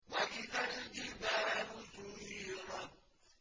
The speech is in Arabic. وَإِذَا الْجِبَالُ سُيِّرَتْ